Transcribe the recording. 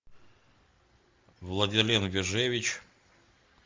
владилен вяжевич